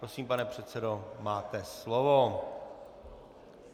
Prosím, pane předsedo, máte slovo.